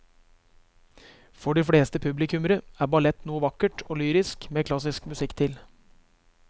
For de fleste publikummere er ballett noe vakkert og lyrisk med klassisk musikk til.